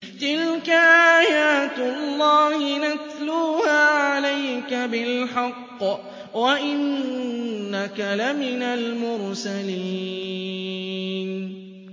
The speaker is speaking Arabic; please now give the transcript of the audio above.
تِلْكَ آيَاتُ اللَّهِ نَتْلُوهَا عَلَيْكَ بِالْحَقِّ ۚ وَإِنَّكَ لَمِنَ الْمُرْسَلِينَ